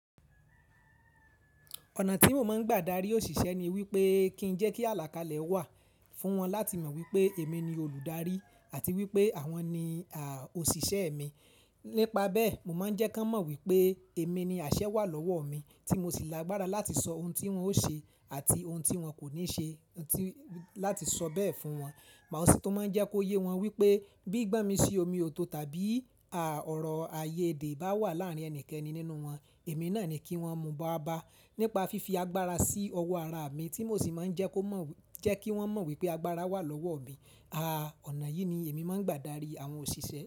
Ọ̀nà tí mo máa ń gbà darí òṣìṣẹ́ ni wípé kí ń jẹ́ kí àlàkalẹ̀ wà fún wọn láti mọ̀ wípé èmi ni olùdarí àti wípé àwọn ni àhh òṣìṣẹ́e mi. Nípa bẹ́ẹ̀, mo máa ń jẹ́ kí wọ́n mọ̀ wípé èmi ni àṣẹ wà lọ́wọ́o mi tí mo sì lágbára láti sọ ohun tí wón ó ṣe àti ohun tí wọn kò ní ṣe láti sọ bẹ́ẹ̀ fún wọn. Màasí tun máa ń jẹ́ kó yé wọn wípé bí gbọ́n mi sí omi òòtọ̀ tàbí à ọ̀rọ̀ ayéèdè bá wà láàárín ẹnikẹ́ni nínú wọn, èmi náà ni kí wọ́n mú ba bá nípa fífi agbára sí ọwọ́ araa mi tí mo sì máa ń jẹ́ kó mọ̀ jẹ́ kí wọ́n mọ̀ wípé agbáraa wà lọ́woọ́ mi. Àa ọ̀nà yìí ni èmi máa ń gbà darí àwọn òṣìṣẹ́.